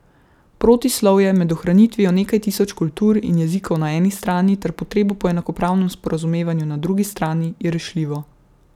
Protislovje med ohranitvijo nekaj tisoč kultur in jezikov na eni strani ter potrebo po enakopravnem sporazumevanju na drugi strani je rešljivo.